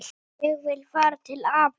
Ég vil fara til afa